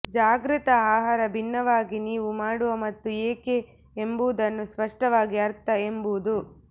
ಜಾಗೃತ ಆಹಾರ ಭಿನ್ನವಾಗಿ ನೀವು ಮಾಡುವ ಮತ್ತು ಏಕೆ ಎಂಬುದನ್ನು ಸ್ಪಷ್ಟವಾಗಿ ಅರ್ಥ ಎಂಬುದು